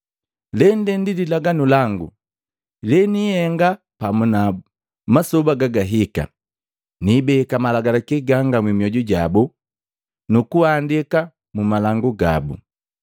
“Lende ndi lilaganu langu leniihenga pamu nabu, masoba gagahika: Niibeka malagalaki gangu mmioju jabo, nu kuandika mu malangu gabu.”